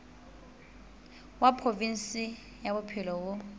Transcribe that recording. wa provinse ya bophelo bo